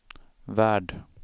värld